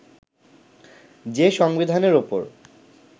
যে সংবিধানের ওপর